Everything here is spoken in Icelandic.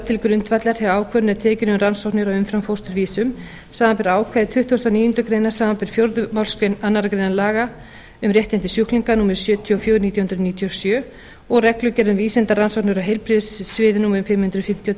til grundvallar þegar ákvörðun er tekin um rannsóknir á umframfósturvísum samanber ákvæði tuttugasta og níundu grein samanber fjórðu málsgrein annarrar greinar laga um réttindi sjúklinga númer sjötíu og fjögur nítján hundruð níutíu og sjö og reglugerð um vísindarannsóknir á heilbrigðissviði númer fimm hundruð fimmtíu og tvö